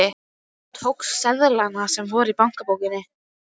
Og tókstu seðlana sem voru í bankabókinni?